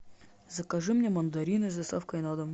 закажи мне мандарины с доставкой на дом